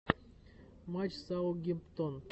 матч саутгемптон